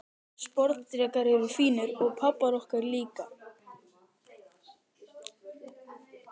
Sporðdrekar eru fínir, og pabbar okkar líka.